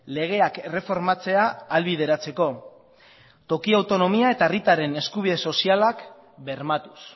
legeak erreformatzea ahalbideratzeko toki autonomia eta herritarren eskubide sozialak bermatuz